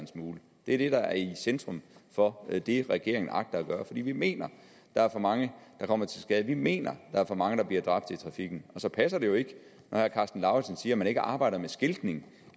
det er det der er i centrum for det det regeringen agter at gøre vi mener at der er for mange der kommer til skade vi mener at der er for mange der bliver dræbt i trafikken så passer det jo ikke når herre karsten lauritzen siger at man ikke arbejder med skiltning